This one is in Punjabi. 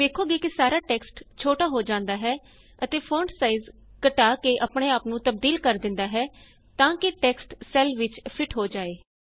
ਤੁਸੀਂ ਵੇਖੋਗੇ ਕਿ ਸਾਰਾ ਟੈਕਸਟ ਛੋਟਾ ਹੋ ਜਾਂਦਾ ਹੈ ਅਤੇ ਫੋਂਟ ਸਾਈਜ ਘੱਟਾ ਕੇ ਆਪਣੇ ਆਪ ਨੂੰ ਤਬਦੀਲ ਕਰ ਦਿੰਦਾ ਹੈ ਤਾਂ ਕਿ ਟੈਕਸਟ ਸੈੱਲ ਵਿਚ ਫਿਟ ਹੋ ਜਾਏ